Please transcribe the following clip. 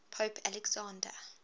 pope alexander